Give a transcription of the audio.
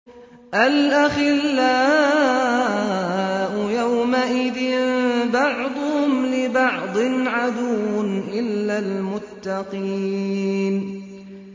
الْأَخِلَّاءُ يَوْمَئِذٍ بَعْضُهُمْ لِبَعْضٍ عَدُوٌّ إِلَّا الْمُتَّقِينَ